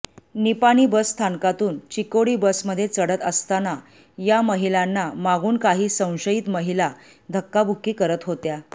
निपाणी बसस्थानकातून चिकोडी बसमध्ये चढत असताना या महिलांना मागून काही संशयित महिला धक्काबुक्की करत होत्या